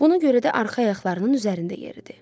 Buna görə də arxa ayaqlarının üzərində yeridi.